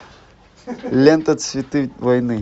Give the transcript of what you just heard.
лента цветы войны